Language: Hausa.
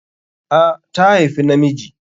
A, ta haifi na miji